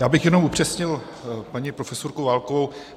Já bych jenom upřesnil paní profesorku Válkovou.